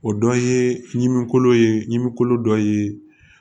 O dɔ ye ɲimiko ye ɲimin kolo dɔ ye